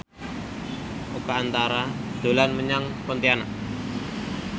Oka Antara dolan menyang Pontianak